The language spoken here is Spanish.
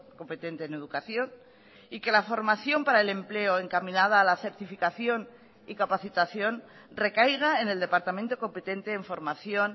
competente en educación y que la formación para el empleo encaminada a la certificación y capacitación recaiga en el departamento competente en formación